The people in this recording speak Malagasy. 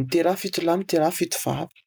"Miteraha fito lahy, miteraha fito vavy."